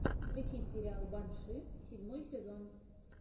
включи сериал банши седьмой сезон